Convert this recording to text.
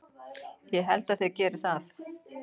Ég held að þeir geri það.